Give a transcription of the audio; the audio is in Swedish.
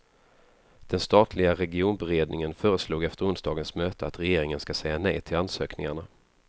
Den statliga regionberedningen föreslog efter onsdagens möte att regeringen ska säga nej till ansökningarna.